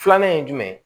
Filanan ye jumɛn ye